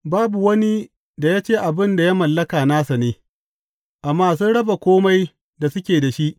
Babu wani da ya ce abin da ya mallaka nasa ne, amma sun raba kome da suke da shi.